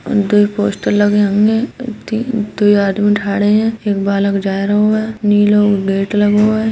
दुइ पोस्टर लगें होंगे। एक दू दुइ आदमी थाड़े हैं। एक बालक जाए रो हैं नीलो गेट लगो है।